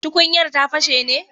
Tukunyar ta fashe ne?